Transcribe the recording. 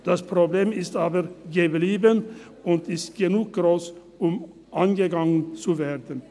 Das Problem ist aber geblieben, und es ist gross genug, um angegangen zu werden.